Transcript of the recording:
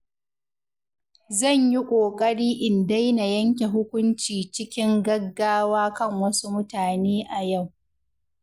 Zan yi ƙoƙari in daina yanke hukunci cikin gaggawa kan wasu mutane a yau.